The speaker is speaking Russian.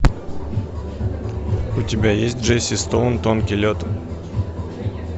у тебя есть джесси стоун тонкий лед